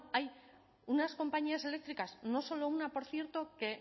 hay unas compañías eléctricas no solo una por cierto que